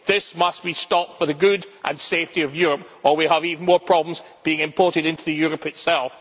This must be stopped for the good and safety of Europe, or we will have even more problems being imported into Europe itself.